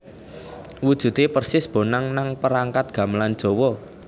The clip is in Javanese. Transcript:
Wujude persis bonang nang perangkat gamelan Jawa